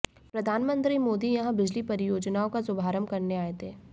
प्रधानमंत्री मोदी यहां बिजली परियोजनाओं का शुभारंभ करने आए थे